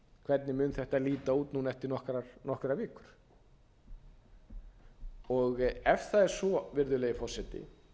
hvernig mun þetta líta út núna eftir nokkrar vikur ef það er svo virðulegi forseti